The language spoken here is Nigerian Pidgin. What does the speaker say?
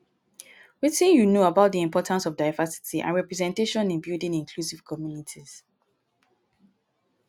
wetin you know about di importance of diversity and representation in building inclusive communities?